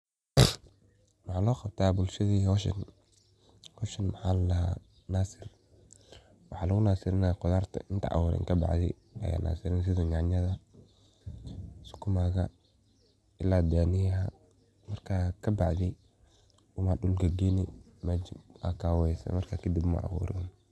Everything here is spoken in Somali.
Waxa loqabta bulshada howshan, howshan waxa ladaha nasiriin waxa lugunasiriya qudarta inta aburin kabacdi aya nasiriney sida yanyada, sukumaga ila daniyaha marka kabacdi una dulka galini mesha marka kadib aya aburi.